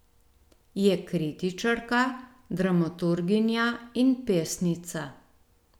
Je kritičarka, dramaturginja in pesnica.